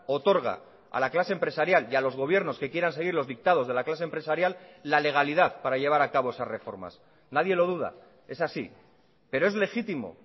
otorga a la clase empresarial y a los gobiernos que quieran seguir los dictados de la clase empresarial la legalidad para llevar a cabo esas reformas nadie lo duda es así pero es legítimo